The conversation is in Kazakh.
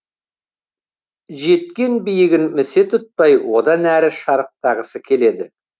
жеткен биігін місе тұтпай одан әріге шарықтағысы келеді